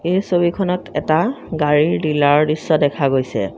এই ছবিখনত এটা গাড়ীৰ ডিলাৰ ৰ দৃশ্য দেখা গৈছে।